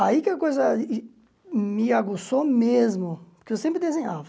Aí que a coisa me aguçou mesmo, porque eu sempre desenhava.